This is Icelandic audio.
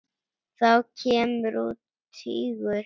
Þá kemur út tígull.